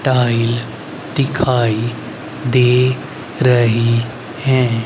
Tile दिखाई दे रही है।